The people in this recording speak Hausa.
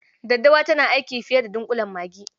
Daddawa tana aiki a fiye da dunƙulen magi.